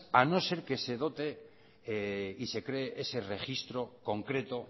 a no ser que se dote y se cree ese registro concreto